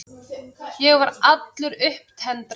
Ég var allur upptendraður.